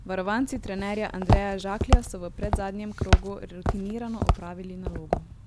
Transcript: Varovanci trenerja Andreja Žaklja so v predzadnjem krogu rutinirano opravili nalogo.